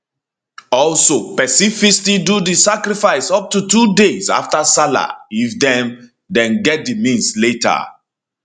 also pesin fit still do di sacrifice up to two days afta sallah if dem dem get di means later